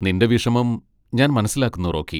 നിന്റെ വിഷമം ഞാൻ മനസ്സിലാക്കുന്നു, റോക്കി.